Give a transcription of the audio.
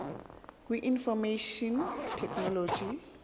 kwi information technology